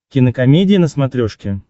кинокомедия на смотрешке